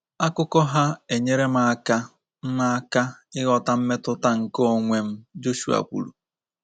Akụkọ ha enyere m aka m aka ịghọta mmetụta nke onwe m, Joshua kwuru.